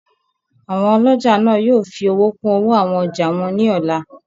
Àwọn ọlọ́jà náà yóò fi owó kún owó àwọn ọjà wọn ní ọ̀la